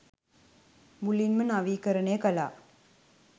මුළුමනින්ම නවීකරණය කළා.